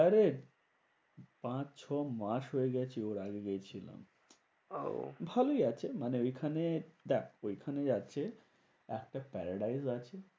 আরে পাঁচ ছ মাস হয়ে গেছে ওর আগে গেছিলাম। আহ ভালোই আছে মানে ঐখানে দেখ ওইখানে আছে একটা fried rice আছে।